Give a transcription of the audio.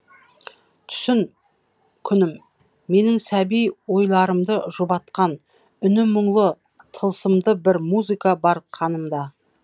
түсін күнім менің сәби ойларымды жұбатқан үні мұңлы тылсымды бір музыка бар қанымда